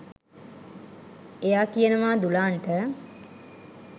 එයා කියනවා දුලාන්ට